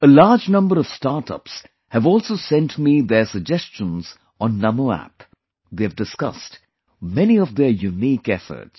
A large number of Startups have also sent me their suggestions on NaMo App; they have discussed many of their unique efforts